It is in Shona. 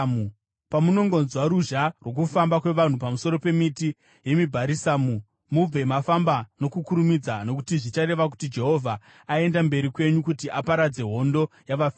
Pamunongonzwa ruzha rwokufamba kwavanhu pamusoro pemiti yemibharisamu, mubve mafamba nokukurumidza, nokuti zvichareva kuti Jehovha aenda mberi kwenyu kuti aparadze hondo yavaFiristia.”